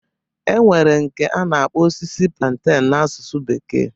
E nwere nke a na-akpọ osisi plantain na asusu bekee.